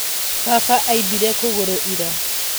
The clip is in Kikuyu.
Baba aimbire kũgũrũ ira.